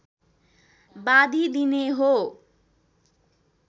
बाँधी दिने हो